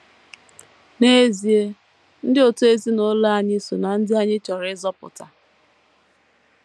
N’ezie, ndị òtù ezinụlọ anyị so ná ndị anyị chọrọ ịzọpụta.